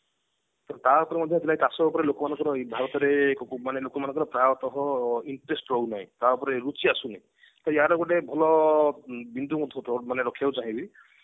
ତ ତା ଉପରେ ମଧ୍ୟ ପ୍ରାଏ ଚାଷ ଉଆପରେ ଲୋକମାନଙ୍କର ଭାରତରେ ପ୍ରାୟତ କଣ interest ରହୁନାହିଁ ତା ଉପରେ ରୁଚି ଆସୁନି ତ ୟାର ଗୋଟେ ଭଲ ବିନ୍ଦୁ କଥା ଟେ ରଖିବାକୁ ଚାହିଁବି